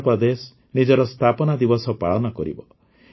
ଆନ୍ଧ୍ରପ୍ରଦେଶ ନିଜର ସ୍ଥାପନା ଦିବସ ପାଳନ କରିବ